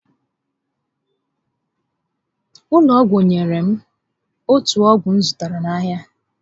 Ndị ụlọ ọgwụ nyèrè m otù ọgwụ m zụtara n'ahịa